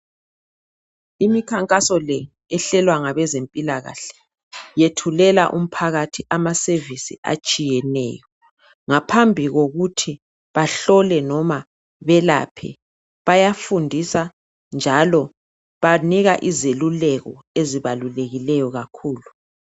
Imikhankaso le ehlelwa ngabezempilakahle yethulela umphakathi ama service atshiyeneyo ngaphambi kokuthi bahlole noma belaphe bayafundisa njalo banika izeluleko ezibalulekileyo kakhulu.